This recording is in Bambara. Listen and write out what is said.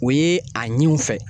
O ye a ɲini u fɛ